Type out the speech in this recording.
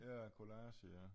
Ja collage ja